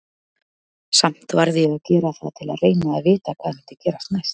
Samt varð ég að gera það til að reyna að vita hvað myndi gerast næst.